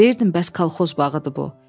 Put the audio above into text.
Deyirdim bəs kolxoz bağıdır bu.